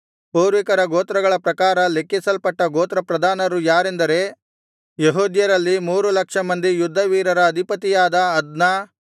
ಪೂರ್ವಿಕರ ಗೋತ್ರಗಳ ಪ್ರಕಾರ ಲೆಕ್ಕಿಸಲ್ಪಟ್ಟ ಗೋತ್ರ ಪ್ರಧಾನರು ಯಾರೆಂದರೆ ಯೆಹೂದ್ಯರಲ್ಲಿ ಮೂರು ಲಕ್ಷ ಮಂದಿ ಯುದ್ಧವೀರರ ಅಧಿಪತಿಯಾದ ಅದ್ನ